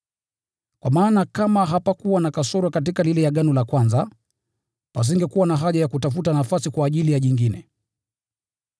Kwa maana kama hapakuwa na kasoro katika lile agano la kwanza, pasingekuwa na haja ya kutafuta nafasi kwa ajili ya jingine.